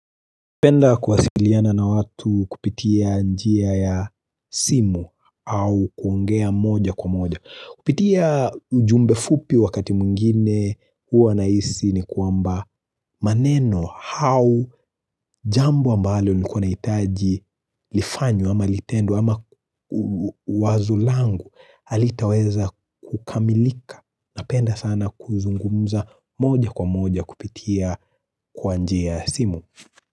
Penda kuwasiliana na watu kupitia njia ya simu au kuongea moja kwa moja. Kupitia ujumbe fupi wakati mwingine huwa nahisi ni kwamba maneno, au jambo ambalo nilikuwa nahitaji lifanywe ama litendwe ama wazo langu halitaweza kukamilika. Napenda sana kuzungumza moja kwa moja kupitia kwa njia ya simu.